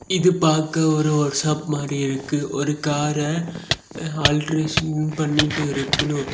இது பாக்க ஒரு ஒர்க் ஷாப் மாரி இருக்கு ஒரு கார ஆல்ட்ரேஷன் பண்ணிட்டு இருக்கனு.